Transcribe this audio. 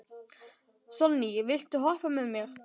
Sonný, viltu hoppa með mér?